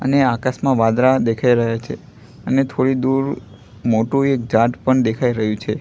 અને આકાશમાં વાદળા દેખાય રહ્યા છે અને થોડી દૂર મોટું એક ઝાડ પણ દેખાય રહ્યું છે.